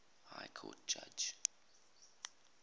high court judge